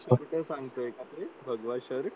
कुठे सांगतोय का ते भगवान श्री